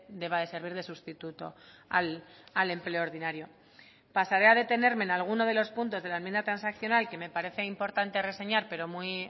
deba de servir de sustituto al empleo ordinario pasaré a detenerme en alguno de los puntos de la enmienda transaccional que me parece importante reseñar pero muy